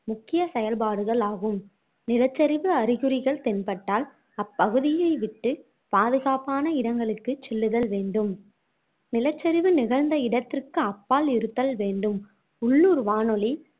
முக்கிய செயல்பாடுகள் ஆகும் நிலச்சரிவு அறிகுறிகள் தென்பட்டால் அப்பகுதியை விட்டு பாதுகாப்பான இடங்களுக்குச் செல்லுதல் வேண்டும் நிலச்சரிவு நிகழ்ந்த இடத்திற்கு அப்பால் இருத்தல் வேண்டும் உள்ளூர் வானொலி